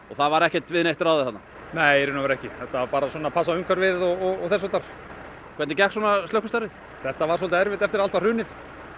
það var ekki við neitt ráðið þarna nei í rauninni ekki þetta var bara að passa umhverfið og þess háttar hvernig gekk slökkvistarfið þetta var svolítið erfitt eftir að allt var hrunið